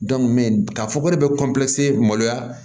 k'a fɔ ko ne bɛ maloya